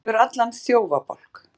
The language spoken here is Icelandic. Út yfir allan þjófabálk